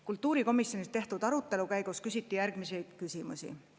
Kultuurikomisjonis toimunud arutelu käigus küsiti järgmisi küsimusi.